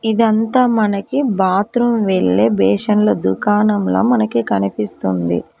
ఇదంతా మనకి బాత్రూం వెళ్లే బేషన్ల దుకాణంలా మనకి కనిపిస్తుంది.